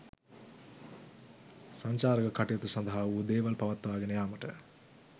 සංචාරක කටයුතු සඳහා වූ දේවල් පවත්වාගෙන යාමට